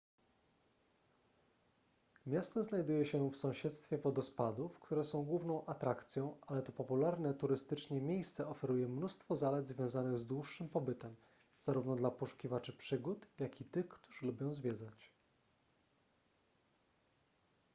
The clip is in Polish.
miasto znajduje się w sąsiedztwie wodospadów które są główną atrakcją ale to popularne turystycznie miejsce oferuje mnóstwo zalet związanych z dłuższym pobytem zarówno dla poszukiwaczy przygód jak i tych którzy lubią zwiedzać